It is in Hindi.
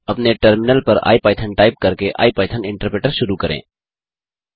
अब अपने टर्मिनल पर इपिथॉन टाइप करके आईपाइथन इन्टरप्रेटर शुरू करें